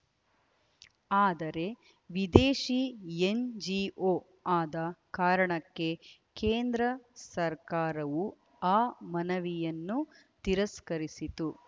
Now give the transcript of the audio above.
ಆದರೆ ವಿದೇಶಿ ಎನ್‌ಜಿಓ ಆದ ಕಾರಣಕ್ಕೆ ಕೇಂದ್ರ ಸರ್ಕಾರವು ಆ ಮನವಿಯನ್ನು ತಿರಸ್ಕರಿಸಿತು